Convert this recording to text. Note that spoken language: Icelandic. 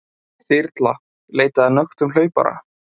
Þyrla leitaði að nöktum hlaupara